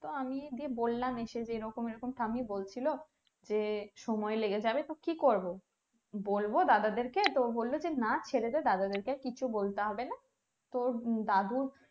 তো আমি বললাম এসে যে এরকম এরকম ঠাম্মি বলছিলো যে সময় লেগে যাবে তো কি করবো বলবো দাদাদের কে তো বললো যে না ছেড়েদে দাদাদেরকে আর কিছু বলতে হবেনা তো দাদুর